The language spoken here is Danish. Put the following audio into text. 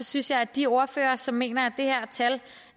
synes jeg at de ordførere som mener